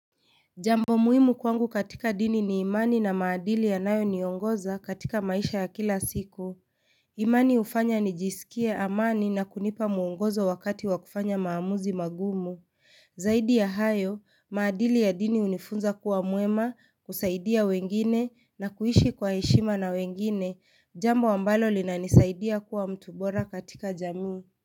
Jambo muhimu kwangu katika dini ni imani na maadili yanayo niongoza katika maisha ya kila siku. Imani hufanya nijisikie amani na kunipa muongozo wakati wakufanya maamuzi magumu. Zaidi ya hayo, maadili ya dini hunifunza kuwa mwema, kusaidia wengine na kuishi kwa heshima na wengine. Jambo ambalo linanisaidia kuwa mtu bora katika jamii.